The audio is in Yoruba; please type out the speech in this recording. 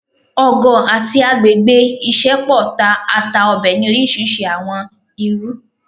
ọgọ ati agbegbe isẹpo ta ata Obe ni orisirisi awọn iru